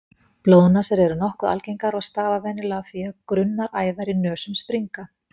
Blóðnasir eru nokkuð algengar og stafa venjulega af því að grunnar æðar í nösum springa.